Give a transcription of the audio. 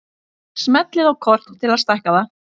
Smellið á kort til að stækka það.